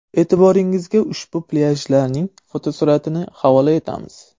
E’tiboringizga ushbu plyajlarning fotosuratlarini havola etamiz.